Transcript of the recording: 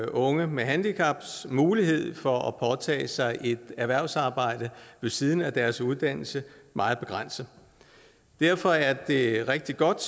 unge med handicaps mulighed for at påtage sig erhvervsarbejde ved siden af deres uddannelse meget begrænset derfor er det rigtig godt